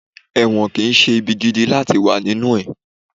ẹwọ́n kí n se ìbí gídí latí wa ninú e